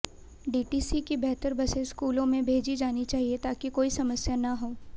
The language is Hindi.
डीटीसी की बेहतर बसें स्कूलों में भेजी जानी चाहिए ताकि कोई समस्या न हों